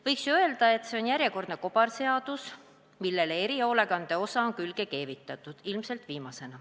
Võiks ju öelda, et see on järjekordne kobarseadus, millele erihoolekande osa on ilmselt viimasena külge keevitatud.